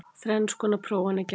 Þrenns konar prófanir gerðar